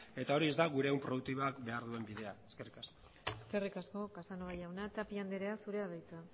eta hori ez da gure ehun produktiboak behar duen bidea eskerrik asko eskerrik asko casanova jauna tapia anderea zurea da hitza